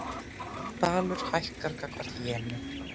Dalur hækkar gagnvart jeni